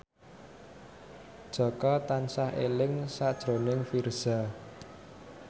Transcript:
Jaka tansah eling sakjroning Virzha